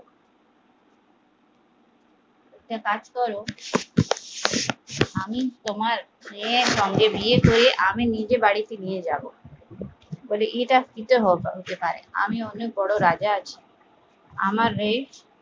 তুমি একটা কাজ করো আমি তোমার মেয়ের সঙ্গে বিয়ে করে আমি নিজে বাড়িতে নিয়ে যাবো, ইটা হতে পারেনা আমি অনেক বড়ো রাজা আছি আমারে